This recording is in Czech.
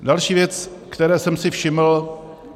Další věc, které jsem si všiml.